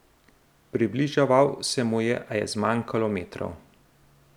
Približeval se mu je, a je zmanjkalo metrov.